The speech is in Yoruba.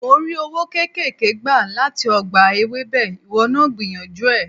Mò ń rí owó kéékèèké gbà láti ọgbà Ewébẹ̀, ìwọ náà gbìyànjú ẹ̀.